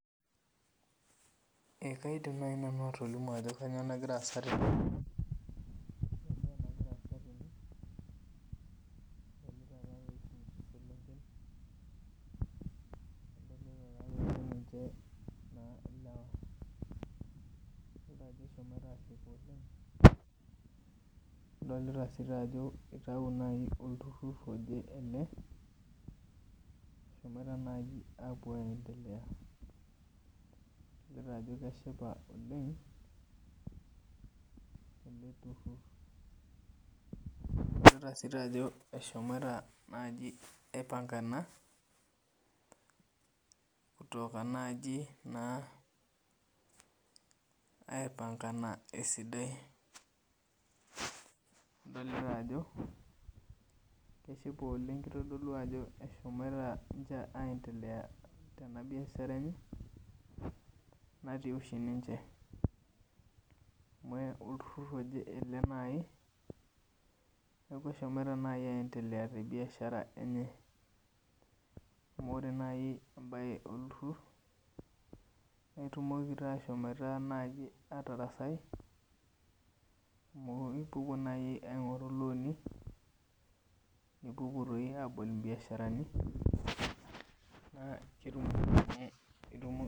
Ee kaidim nai atolimu ajo kanyio nagira aasa tene ore entoki nagira aasa tene adolita ninche adolta si ajo olturur ele eshomoita nai apuo aindelea adolta ajo keshipa oleng eleturur adolta ajo eahomoita aipnga ena kutoki nai aipangana esidai adolta ajo keahipa oleng kitodolu ajo eshomo aiendelea tenabiashara natii oshi ninche amu olturur aje ele neaku eshomoita aendelea tebiashara enye amu ore nai embae olturur na itumoki ashomoita atarasai amu ipuopuo nai aingori loani nipuopuo aingoru mbiasharani ketumoki.